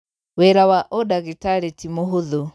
Wĩra wa ũdagĩtarĩti mũhũthũ.